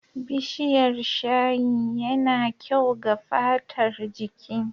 Bishiyar shayi ya na kyau ga fatar jiki.